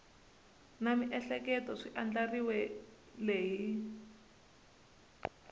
na miehleketo swi andlariwile hi